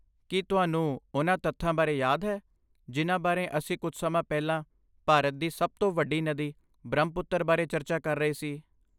ਕੀ ਤੁਹਾਨੂੰ ਉਨ੍ਹਾਂ ਤੱਥਾਂ ਬਾਰੇ ਯਾਦ ਹੈ ਜਿਨ੍ਹਾਂ ਬਾਰੇ ਅਸੀਂ ਕੁਝ ਸਮਾਂ ਪਹਿਲਾਂ ਭਾਰਤ ਦੀ ਸਭ ਤੋਂ ਵੱਡੀ ਨਦੀ ਬ੍ਰਹਮਪੁੱਤਰ ਬਾਰੇ ਚਰਚਾ ਕਰ ਰਹੇ ਸੀ?